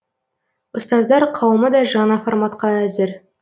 ұстаздар қауымы да жаңа форматқа әзір